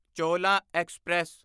ਚੋਲਾਂ express